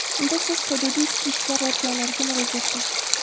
unda siz hududiy Ishchi ishlar organlariga murojaat qiling.